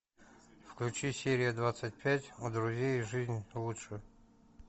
включи серия двадцать пять у друзей жизнь лучше